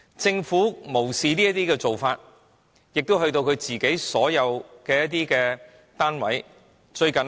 政府無視這些做法，亦影響到所有政府單位。